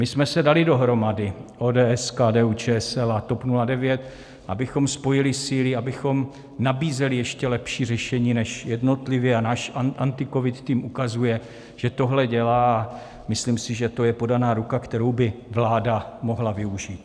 My jsme se dali dohromady, ODS, KDU-ČSL a TOP 09, abychom spojili síly, abychom nabízeli ještě lepší řešení než jednotlivě, a náš AntiCovid tým ukazuje, že tohle dělá, a myslím si, že to je podaná ruka, kterou by vláda mohla využít.